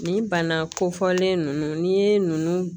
Nin bana kofɔlen ninnu n'i ye nunnu